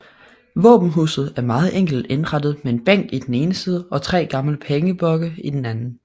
Våbenhuset er meget enkelt indrettet med en bænk i den ene side og tre gamle pengeblokke i den anden